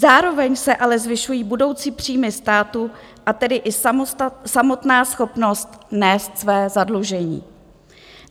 Zároveň se ale zvyšují budoucí příjmy státu, a tedy i samotná schopnost nést své zadlužení.